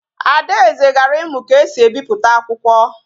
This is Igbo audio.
Adaeze gara imu ka esi e biputa akwukwo